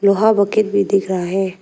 वहां बकेट भी दिख रहा है।